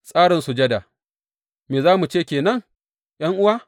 Tsarin sujada Me za mu ce ke nan ’yan’uwa?